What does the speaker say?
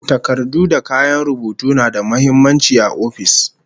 Takardu da kayan rubutu na da muhimmanci a ofis